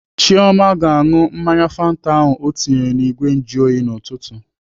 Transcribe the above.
Chioma ga-aṅụ mmanya fanta ahụ ọ tinyere n'igwe njuoyi n'ụtụtụ.